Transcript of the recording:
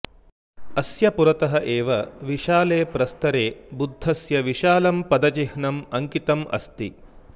अस्य पुरतः एव विशाले प्रस्तरे बुद्धस्य विशालं पदचिह्नम् अङ्कितम् अस्ति